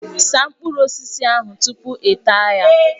Saa mkpụrụ osisi ahụ tupu ịta ya!